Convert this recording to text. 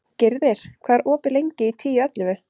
Gyrðir, hvað er opið lengi í Tíu ellefu?